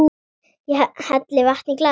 Ég helli vatni í glas.